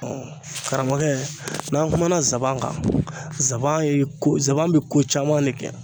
karamɔgɔkɛ n'an kumana zaban kan zaban ye ko zanba bi ko caman de kɛ